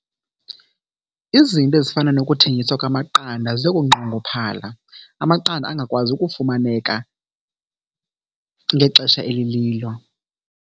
Izinto ezifana nokuthengiswa kwamaqanda ziyokunqongophala amaqanda angakwazi ukufumaneka ngexesha elililo.